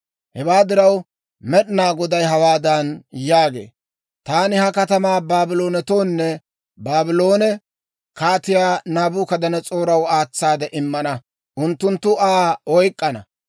Hewaa diraw, Med'inaa Goday hawaadan yaagee; «Taani ha katamaa Baabloonetoonne Baabloone Kaatiyaa Naabukadanas'ooraw aatsaade immana; unttunttu Aa oyk'k'ana.